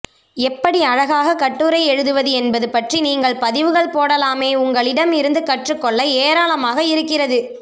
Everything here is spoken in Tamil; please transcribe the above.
எப்படி அழகாக கட்டுரை எழுதுவது என்பது பற்றி நீங்கள் பதிவுகள் போடலாமே உங்களிடம் இருந்து கற்றுக் கொள்ள ஏராளமாக இருக்கிறது